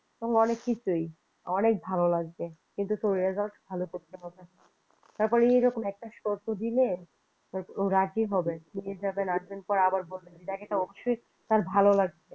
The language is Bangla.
এরকম অনেক কিছুই অনেক ভালো লাগবে কিন্তু তোর result ভালো করতে হবে তারপরে এরকম একটা শর্ত দিলে ও রাজি হবে ঘুরতে যাবেন তারপরে আবার বলবেন এটা অবশ্যই তার ভালো লাগবে।